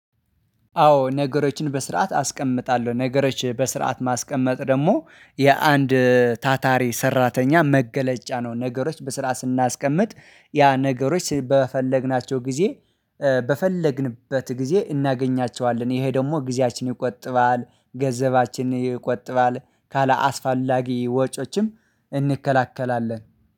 አዎ ነገሮችን በስርዓት አስቀምጣለሁ ነገሮች በስርዓት ማስቀመጥ ደግሞ የአንድ ታታሪ ሰራተኛ መገለጫ ነው። ነገሮች በስራ ስናስቀምጥ ያ ነገሮች በፈለግናቸው ጊዜ በፈለግንበት ጊዜ እናገኛቸዋለን። ይሄ ደግሞ ጊዜያችንን ይቆጥባል ገንዘባችንን ይቆጥባል ካለአስፈላጊ ወጮችም እንከላከላለን